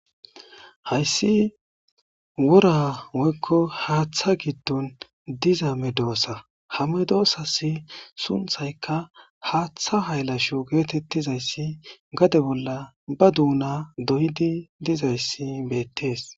Hayssi wora woykko haaththa giddon diza me doossa hame doossasi sunthayka haaththa haylasho geetettizayssi gade bolla ba duuna doyidi dizayssi beettees.